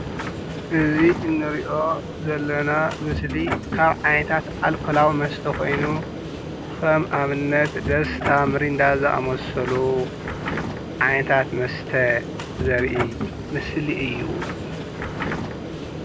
እዚ ንሪኦ ዘለና ምስሊ ካብ ዓይነታት ኣልኮላዊ መስተ ኮይኑ ከም ኣብነት ደስታ ሚሪንዳ ዝኣመሰሉ ዓይነታት መስተ ዘርኢ ምስሊ እዪ ።